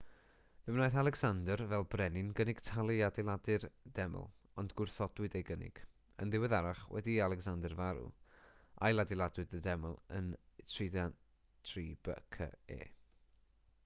fe wnaeth alecsander fel brenin gynnig talu i ailadeiladu'r deml ond gwrthodwyd ei gynnig yn ddiweddarach wedi i alecsander farw ailadeiladwyd y deml yn 323 bce